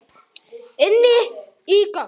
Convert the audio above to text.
Inní göng.